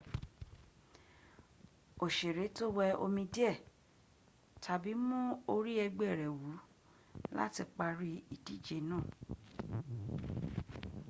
òṣèrè tó wẹ omi díẹ̀ tàbí mú orí ẹgbẹ́ rl wù láti parí ìdíje náà